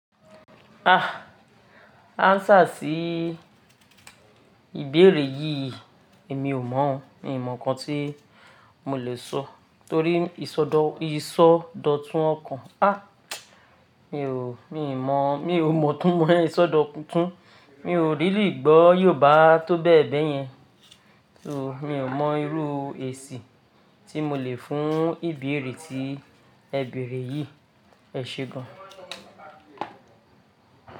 Ah! Answer sí ìbéèrè yí, èmi ò mọ̀ ọ́o. Mi ò mọ̀ nǹkan tí mo lè sọ, torí ìsọdọ̀tun ọkàn. Ah! Mi ò, mi ò mọ̀, mi ò mọ̀ túmọ̀ ìsọdọ̀tun kúnkun. Mi ò rí rí gbọ́ Yorùbá tó bẹ́ẹ̀ bẹ́ẹ̀ yẹn. So mi ò mọ irú èsì tí mo lè fún ìbéèrè tí ẹ bèèrè yìí. Ẹ ṣé gan.